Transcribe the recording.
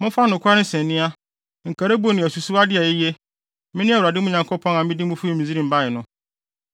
Momfa nokware nsania, nkaribo ne asusuwde a eye. Mene Awurade mo Nyankopɔn a mede mo fi Misraim bae no.